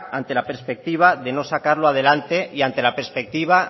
ante la perspectiva de no sacarlo adelante y ante la perspectiva